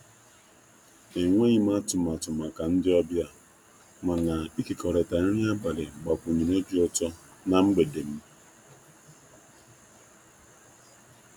E nweghịm atụmatụ maka ndị ọbịa, mana ịkekọrịta ọbịa, mana ịkekọrịta nri abalị gbakwunyere obi utọ na mgbede m.